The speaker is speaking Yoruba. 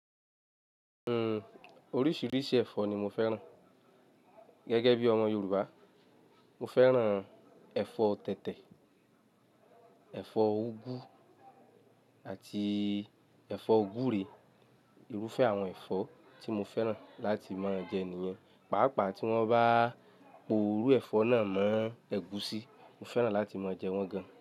Oríṣiríṣi ẹ̀fọ́ ni mo fẹ́ràn. Gẹ́gẹ́ bí ọmọ Yorùbá, mo fẹ́ràn ẹ̀fọ́ tẹ̀tẹ̀, ẹ̀fọ́ úgú àti ẹ̀fọ́ gbúre. Irúfẹ́ àwọn ẹ̀fọ́ tí mo fẹ́ràn láti máa jẹ nìyẹn. Pàápàá tí wọ́n bá po irú ẹ̀fọ́ náà mọ́ ẹ̀gúsí, mo fẹ́ràn láti máa jẹ wọ́n gan.